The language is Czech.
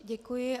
Děkuji.